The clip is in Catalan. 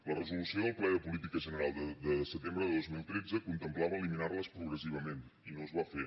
la resolució del ple de política general de setembre de dos mil tretze contemplava eliminar les progressivament i no es va fer